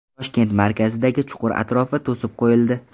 Toshkent markazidagi chuqur atrofi to‘sib qo‘yildi.